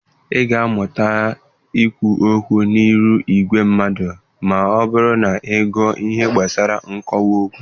Ị ga-amụta ikwu okwu n'ịrụ ìgwè mmadụ ma ọ bụrụ na ị gụọ ihe gbasara nkwuwa okwu.